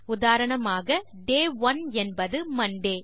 உதாரணமாக day one என்பது Monte